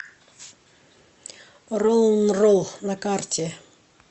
роллнролл на карте